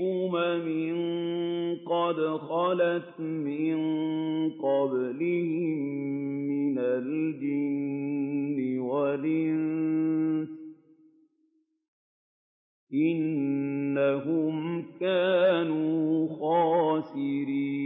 أُمَمٍ قَدْ خَلَتْ مِن قَبْلِهِم مِّنَ الْجِنِّ وَالْإِنسِ ۖ إِنَّهُمْ كَانُوا خَاسِرِينَ